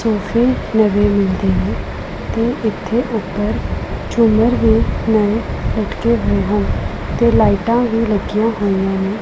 AC ਨਵੇਂ ਮਿਲਦੇ ਨੇ ਤੇ ਇੱਥੇ ਉੱਪਰ ਝੁਮਰ ਵੀ ਨਏ ਲਟਕੇ ਹੋਏ ਹਨ ਤੇ ਲਾਈਟਾਂ ਵੀ ਲੱਗੀਆਂ ਹੋਈਆਂ ਨੇ।